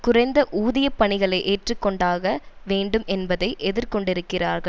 குறைந்த ஊதியப் பணிகளை ஏற்றுக்கொண்டாக வேண்டும் என்பதை எதிர்கொண்டிருக்கிறார்கள்